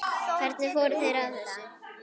Hvernig fóru þeir að þessu?